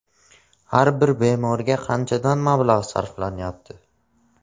Har bir bemorga qanchadan mablag‘ sarflanyapti?